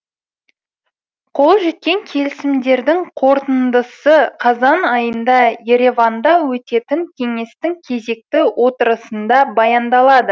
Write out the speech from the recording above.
қол жеткен келісімдердің қорытындысы қазан айында ереванда өтетін кеңестің кезекті отырысында баяндалады